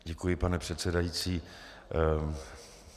Děkuji, pane předsedající.